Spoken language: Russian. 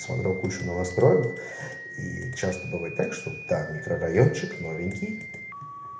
смотрел кучу новостроек и часто бывает так чтобы там микрорайончек новенький